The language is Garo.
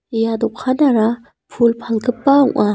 ia dokanara pul palgipa ong·a.